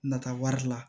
Nata wari la